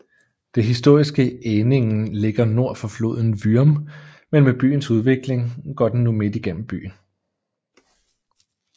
Det historiske Ehningen ligger nord for floden Würm men med byens udvikling går den nu midt gennem byen